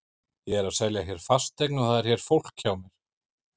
Ég er að selja hér fasteign og það er hér fólk hjá mér.